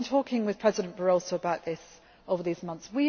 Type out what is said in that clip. issue I agree. I have been talking with President Barroso about this over